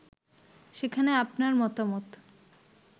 সেখানে আপনার মতামত